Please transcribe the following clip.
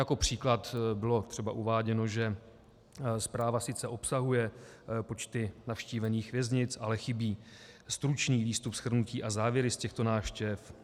Jako příklad bylo třeba uváděno, že zpráva sice obsahuje počty navštívených věznic, ale chybí stručný výstup, shrnutí a závěry z těchto návštěv.